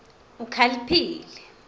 ukhaliphile